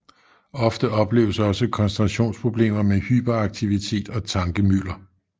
Ofte opleves også koncentrationsproblemer med hyperaktivitet og tankemylder